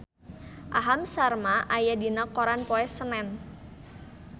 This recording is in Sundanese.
Aham Sharma aya dina koran poe Senen